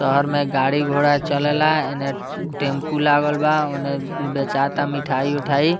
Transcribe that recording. शहर में गाड़ी-घोड़ा चलेला एने टैम्पू लागल बा ओने बेचाता मिठाई-उठाई।